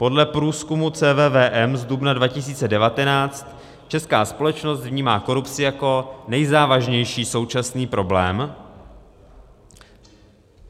Podle průzkumu CVVM z dubna 2019 česká společnost vnímá korupci jako nejzávažnější současný problém.